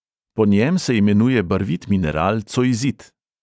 Po njem se imenuje barvit mineral cojzit.